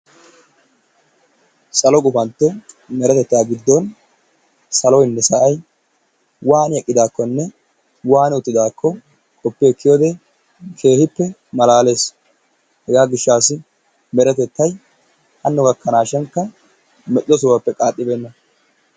Sallo gupantto merettetta giddon saloynne saayi wanni eqqidakonne wanni uttidakonne qoppiyowode kehippe malalessi, hega gishasi meretettay hano gakanashikka medho sohuwaape qaxibenna.